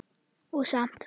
Og samt.